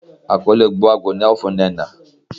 akole Ogbuagu ni ao fun Nnenna